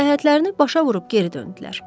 Səyahətlərini başa vurub geri döndülər.